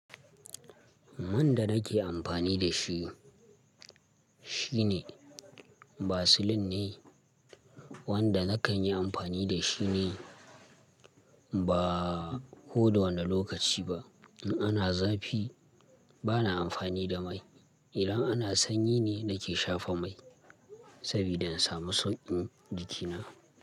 Man da nake amfani da shi, shine Vaseline ne wanda na kan yi amfani da shi ne ba kowane lokaci ba. In ana zafi bana amfani da mai, idan ana sanyi ne nake shafa mai saboda in samu sauƙin jikina.